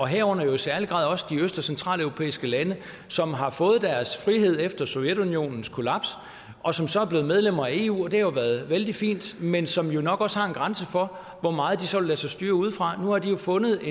herunder i særlig grad også i de øst og centraleuropæiske lande som har fået deres frihed efter sovjetunionens kollaps og som så er blevet medlemmer af eu og det har været vældig fint men som jo nok også har en grænse for hvor meget de så vil lade sig styre udefra nu har de jo fundet